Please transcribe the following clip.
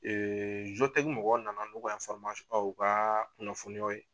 mɔgɔw na na n'o ka o ka kunnafoniyaw ye.